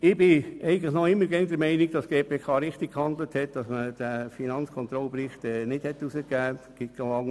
Ich bin immer noch der Meinung, dass die GPK richtig gehandelt hat, indem sie diesen Finanzkontrollbericht nicht herausgegeben hat.